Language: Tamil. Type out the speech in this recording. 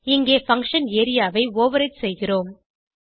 இங்கே பங்ஷன் ஏரியா ஐ ஓவர்ரைடு செய்கிறோம்